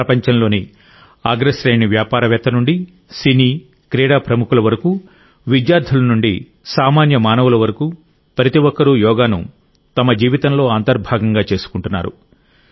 ప్రపంచంలోని అగ్రశ్రేణి వ్యాపారవేత్త నుండి సినీ క్రీడా ప్రముఖుల వరకు విద్యార్థుల నుండి సామాన్య మానవుల వరకు ప్రతి ఒక్కరూ యోగాను తమ జీవితంలో అంతర్భాగంగా చేసుకుంటున్నారు